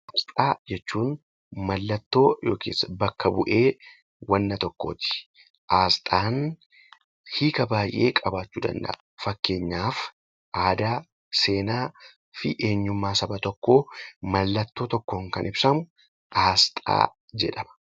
Asxaa jechuun mallattoo yookiin bakka bu'ee wanta tokkooti. Asxaan hiika baay'ee qabaachuu danda'a. Fakkeenyaaf aadaa, seenaa fi eenyummaa saba tokkoo mallattoo tokkoon kan ibsamu asxaa jedhama.